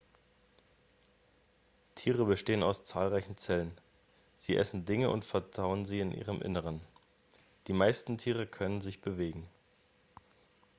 tiere bestehen aus zahlreichen zellen sie essen dinge und verdauen sie in ihrem innern die meisten tiere können sich bewegen